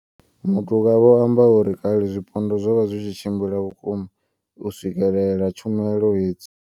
Matuka vho amba uri kale zwipondwa zwo vha zwi tshi tshimbila vhukuma u swikelela tshumelo hedzi.